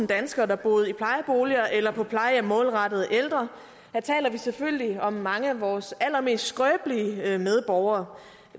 danskere der boede i plejeboliger eller på plejehjem målrettet ældre her taler vi selvfølgelig om mange af vores allermest skrøbelige medborgere